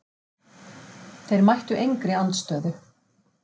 Þeir mættu engri andstöðu.